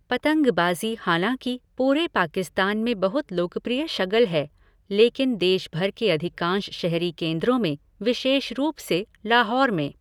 पतंगबाज़ी हालांकि पूरे पाकिस्तान में बहुत लोकप्रिय शगल है, लेकिन देश भर के अधिकांश शहरी केंद्रों में, विशेष रूप से लाहौर में।